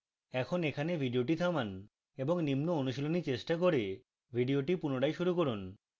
এখন এখানে video থামান এবং নিম্ন অনুশীলনী চেষ্টা করে video পুনরায় শুরু করুন